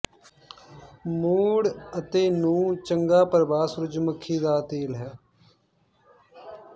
ਮੁੜ ਅਤੇ ਨੂੰ ਚੰਗਾ ਪ੍ਰਭਾਵ ਸੂਰਜਮੁਖੀ ਦਾ ਤੇਲ ਹੈ